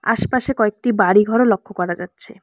আশপাশে কয়েকটি বাড়িঘরও লক্ষ করা যাচ্ছে।